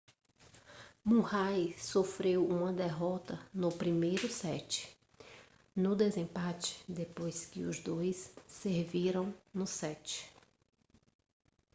murray sofreu uma derrota no primeiro set no desempate depois que os dois serviram no set